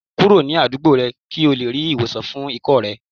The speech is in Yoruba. Kuro ni adugbo rẹ ki o le ri iwosan fun ikọ́ rẹ